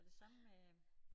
Og det samme med